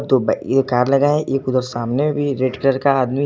ये कार लगा है एक उधर सामने भी रेड कलर का आदमी है।